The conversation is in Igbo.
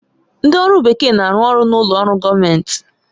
Ndị ọrụ bekee na-arụ ọrụ n'ụlọ ọrụ gọọmentị